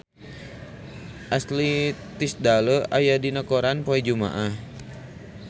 Ashley Tisdale aya dina koran poe Jumaah